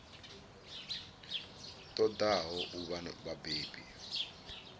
ṱo ḓaho u vha vhabebi